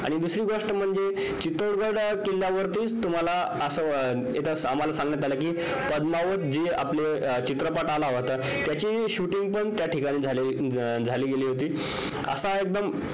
आणि दुसरी गोष्ट म्हणजे चितौढ गढ किल्ल्यावर असं आम्हाला सांगण्यात आलं कि त्याची shooting पण त्या ठिकाणी झाली गेलेली